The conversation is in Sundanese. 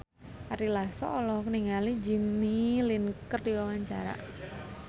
Ari Lasso olohok ningali Jimmy Lin keur diwawancara